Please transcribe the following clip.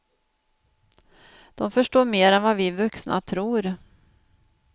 De förstår mer än vad vi vuxna tror.